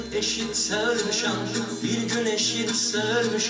Bir gün eşitsən, Müşəqin, bir gün eşitsən, Müşəqin.